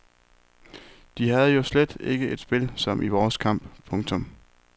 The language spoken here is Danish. De havde jo slet ikke et spil som i vores kamp. punktum